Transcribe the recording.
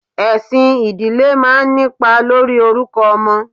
Esin ìdílé máa ń nípa lórí orúkọ ọmọ.